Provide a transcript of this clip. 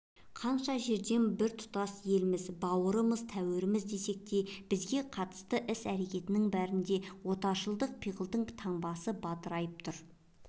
қанша жерден біртұтас еліміз бауырымыз-тәуіріміз десек те бізге қатысты іс-әрекеттің бәрінде отаршылдық пиғылдың таңбасы бадырайып тұр